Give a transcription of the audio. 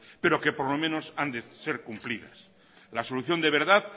pero que por lo menos han de ser cumplidas la solución de verdad